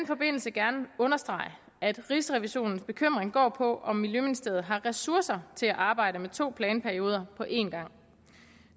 forbindelse gerne understrege at rigsrevisionens bekymring går på om miljøministeriet har ressourcer til at arbejde med to planperioder på en gang